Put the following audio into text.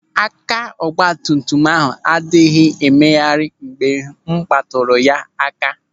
Aka ọgbatumtum ahụ anaghị e megharị mgbe m kpatụrụ ha aka.